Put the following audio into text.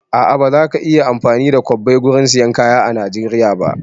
A'a, ba za ka iya amfani da kwabbai gurin sayan kaya a Najeriya ba